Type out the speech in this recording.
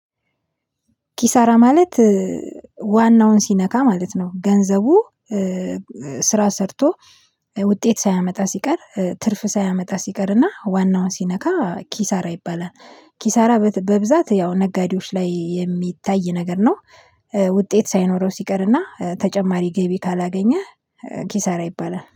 ኪሳራ ማለት ዋናውን ሲነካ ማለት ነው። ገንዘቡ ስራ ሰርቶ ውጤት ሳያመጣ ሲቀር፤ ትርፍ ሳያመጣ ሲቀርና ዋናውን ሲነካ ኪሳራ ይባላል። ኪሳራ በብዛት ያው ነጋዴዎች ላይ የሚታይ ነገር ነው። ውጤት ሳይኖረው ሲቀርና ተጨማሪ ገቢ ካላገኘህ ኪሳራ ይባላል።